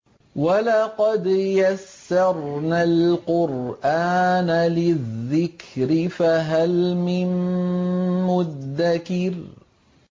وَلَقَدْ يَسَّرْنَا الْقُرْآنَ لِلذِّكْرِ فَهَلْ مِن مُّدَّكِرٍ